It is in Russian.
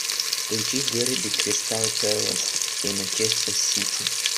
включи дерби кристал пэлас и манчестер сити